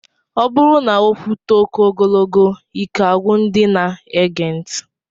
Ọ bụrụ na okwu too oké ogogolo, ike agwụ ndị na-ege ntị.